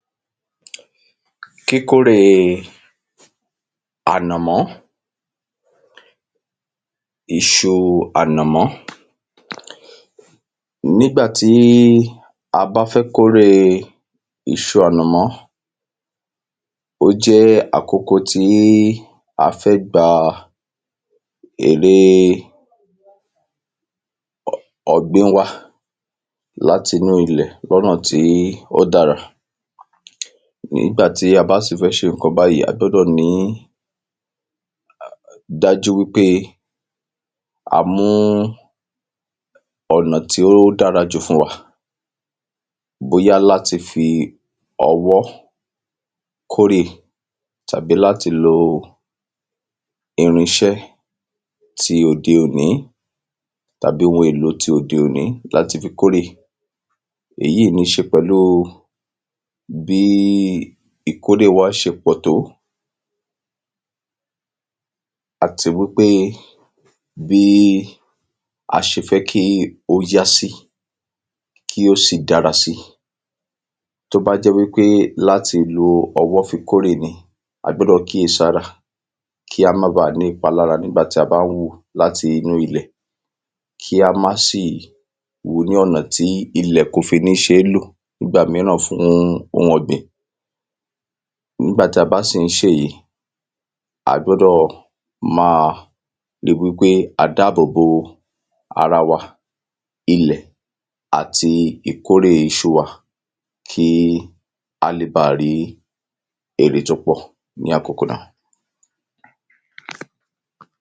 kíkóre ànàmọ́, iṣu ànàmọ́ nígbà tí a bá fẹ́ kóre iṣu ànàmọ́ ó jẹ́ àkókò tí a bá fẹ́ ká èrè ọ̀gbìn wa, láti inú ilẹ̀ lọ́nà tí ó dára nígbà tí a bá fẹ́ ṣe ǹkan báyìí, a gbọ́dọ̀ ríi dájú wípé a mu ọ̀nà tí ó dára jù fún wa bóyá láti fi ọwọ́ kórè àbí láti lo irinṣẹ́ tí òde òní, tàbí ohun èlò tí òde òní láti fi kórè èyí ní ṣe pẹ̀lú bí ìkórè wá ṣe pọ̀ tó àti wípé bí a ṣe fẹ́ kí ó yá sí, kí ó sì dára sí. tó bá jẹ́ wípé láti fi ọwọ́ fi kórè, a gbọ́dọ̀ kíyèsi ara wa, kí á má baà ní ìpalára nígbà tí a bá ń wúu láti inú ilẹ̀ kí á má sì wúu ní ọ̀nà tí ilẹ̀ kò fi ní ṣe é lò nígbà míràn fún ohun ọ̀gbìn. nígbà tí a bá ń sì ń ṣe èyí, a gbọ́dọ̀ máa rí wípé a dáàbò bo ara wa, ilẹ̀ àti ìkórè iṣu wa. kí a lè ba rí èrè tó pọ̀ ní àkókò náà.